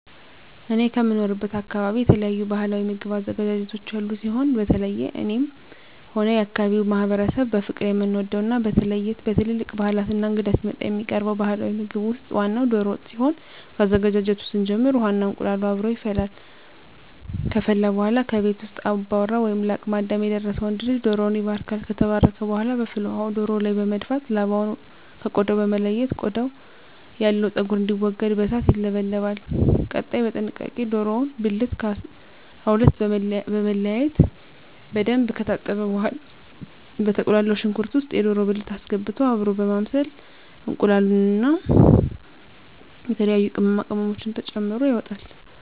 እኔ ከምኖርበት አካበቢ የተለያዩ ባህላዊ ምግብ አዘገጃጀቶች ያሉ ሲሆን በተለየ እኔም ሆነ የአካባቢዉ ማህበረሰብ በፍቅር የምንወደው እና በተለየ በትልልቅ ባህላት እና እንግዳ ሲመጣ የሚቀርበው ባህላዊ ምግብ ውስጥ ዋናው ደሮ ወጥ ሲሆን ከአዘገጃጀቱ ስንጀምር ውሃ እና እንቁላሉ አብሮ ይፈላል ከፈላ በኃላ ከቤት ውስጥ አባወራ ወይም ለአቅመ አዳም የደረሰ ወንድ ልጅ ደሮዉን ይባርካል። ከተባረከ በኃላ በፍል ውሃው ደሮው ላይ በመድፋት ላባውን ከ ቆዳው በመለየት ቆዳው ያለው ፀጉር እንዲወገድ በእሳት ይለበለባል። ቀጣይ በጥንቃቄ የደሮውን ብልት ከ 12 በመለያየት በደንብ ከታጠበ በኃላ በተቁላላው ሽንኩርት ውስጥ የደሮ ብልት አስገብቶ አብሮ በማብሰል እንቁላሉን እና የተለያዩ ቅመማ ቅመሞችን ተጨምሮ ይወጣል።